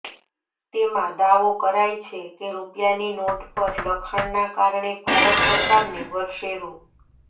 તેમાં દાવો કરાય છે કે રૂપિયાની નોટ પર લખાણના કારણે ભારત સરકારને વર્ષે રૂ